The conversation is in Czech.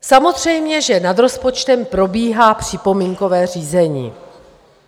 Samozřejmě, že nad rozpočtem probíhá připomínkové řízení.